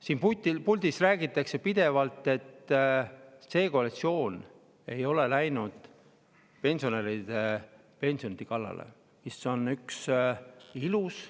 Siin puldis räägitakse pidevalt, et see koalitsioon ei ole läinud pensionide kallale, mis on üks ilus,